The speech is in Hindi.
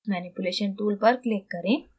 manipulation tool पर click करें